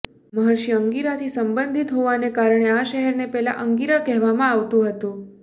મહર્ષિ અંગિરાથી સંબંધિત હોવાને કારણે આ શહેરને પહેલા અંગિરા કહેવામાં આવતું હતું